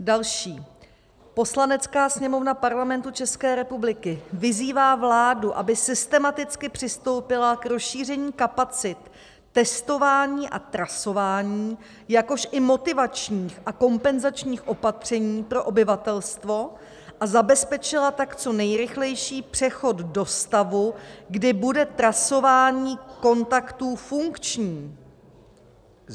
Další: "Poslanecká sněmovna Parlamentu České republiky vyzývá vládu, aby systematicky přistoupila k rozšíření kapacit testování a trasování, jakož i motivačních a kompenzačních opatření pro obyvatelstvo, a zabezpečila tak co nejrychlejší přechod do stavu, kdy bude trasování kontaktů funkční."